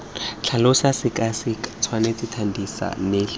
tlhalosa sekaseka tshwaela thadisa neela